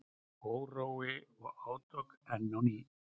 Órói og átök enn á ný